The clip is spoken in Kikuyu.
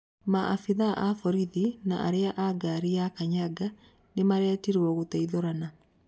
Maabitha a borithi na arĩa a ngari ya kanyaga nĩmaretirwo gũteithũrana.